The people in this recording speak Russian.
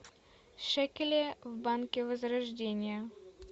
шекели в банке возрождение